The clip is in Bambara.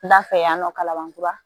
N da fɛ yan nɔ kalaban kura